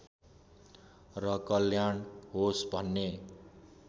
र कल्याण होस् भन्ने